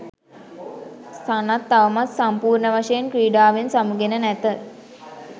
සනත් තවමත් සම්පූර්ණවශයෙන් ක්‍රීඩාවෙන් සමුගෙන නැත